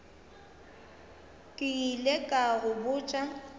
ke ile ka go botša